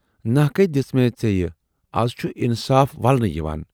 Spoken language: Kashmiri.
نحقے دِژمےَ ژیے، اَز چھُ اِنصاف ولنہٕ یِوان۔